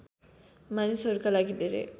मानिसहरूका लागि धेरै